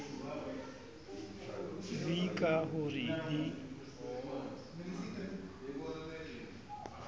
v ka ho re le